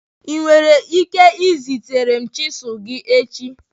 ị nwere ike izitere m chisilu gị echi?